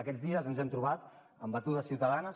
aquests dies ens hem trobat amb batudes ciutadanes